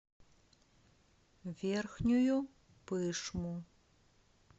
верхнюю пышму